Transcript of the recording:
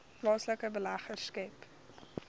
plaaslike beleggers skep